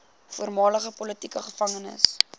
voormalige politieke gevangenes